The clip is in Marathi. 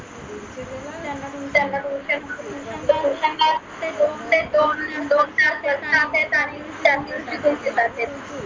त्यांना तुमच्या tuition ते दोन ते दोन तास